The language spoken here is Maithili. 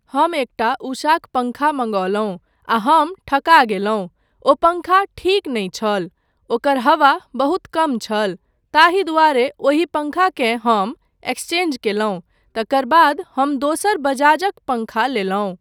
हम एकटा उषाक पङ्खा मंगौलहुँ आ हम ठका गेलहुँ ओ पङ्खा ठीक नहि छल, ओकर हवा बहुत कम छल, ताहि दुआरे ओहि पङ्खाकेँ हम एक्सचेंज केलहुँ, तकर बाद हम दोसर बजाजक पङ्खा लेलहुँ।